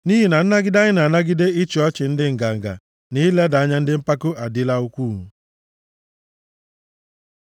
Nʼihi na nnagide anyị na-anagide ịchị ọchị ndị nganga, na ileda anya ndị mpako adịla ukwuu.